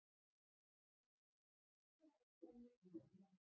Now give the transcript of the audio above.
Hún finnst um alla Ástralíu inni í landi.